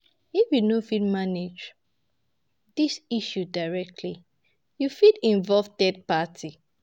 If you no fit manage di issue directly, you fit involve third party